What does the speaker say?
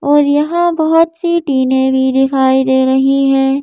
और यहां बहुत सी टिने भी दिखाई दे रही है।